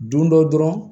Don dɔ dɔrɔn